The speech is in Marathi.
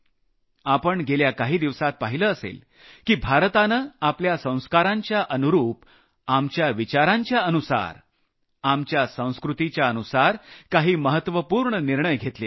आपण गेल्या काही दिवसांत पाहिलं असेल की भारतानं आपल्या संस्कारांच्या अनुरूप आपल्या विचारांच्या अनुसार आपल्या संस्कृतीच्या अनुसार काही महत्वपूर्ण निर्णय घेतले आहेत